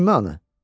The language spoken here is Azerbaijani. Jimmi hansı?